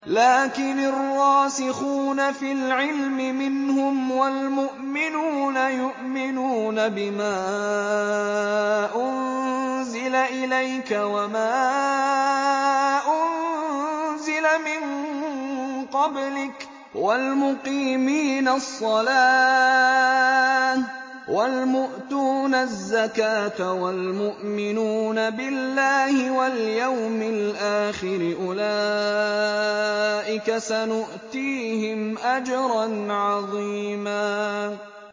لَّٰكِنِ الرَّاسِخُونَ فِي الْعِلْمِ مِنْهُمْ وَالْمُؤْمِنُونَ يُؤْمِنُونَ بِمَا أُنزِلَ إِلَيْكَ وَمَا أُنزِلَ مِن قَبْلِكَ ۚ وَالْمُقِيمِينَ الصَّلَاةَ ۚ وَالْمُؤْتُونَ الزَّكَاةَ وَالْمُؤْمِنُونَ بِاللَّهِ وَالْيَوْمِ الْآخِرِ أُولَٰئِكَ سَنُؤْتِيهِمْ أَجْرًا عَظِيمًا